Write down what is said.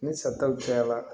Ni sataw cayara